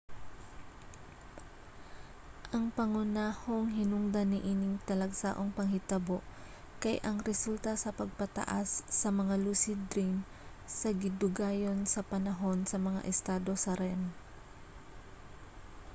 ang pangunang hinungdan niining talagsaong panghitabo kay ang resulta sa pagpataas sa mga lucid dream sa gidugayon sa panahon sa mga estado sa rem